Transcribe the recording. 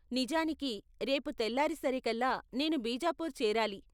నిజానికి, రేపు తెల్లారేసరికల్లా నేను బీజాపూర్ చేరాలి.